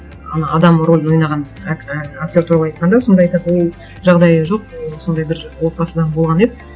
ана адам рөлін ойнаған і актер туралы айтқанда сонда айтады ол жағдайы жоқ сондай бір отбасыдан болған еді